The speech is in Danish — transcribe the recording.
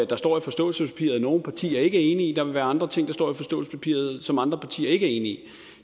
der står i forståelsespapiret som nogle partier ikke er enige i og der vil være andre ting i forståelsespapiret som andre partier ikke er enige i